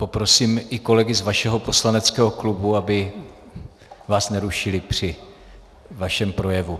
Poprosím i kolegy z vašeho poslaneckého klubu, aby vás nerušili při vašem projevu.